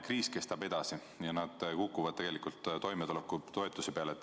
Kriis kestab edasi ja nad kukuvad tegelikult toimetulekutoetuse peale.